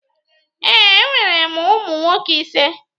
Ee, enwere m ụmụ nwoke ise.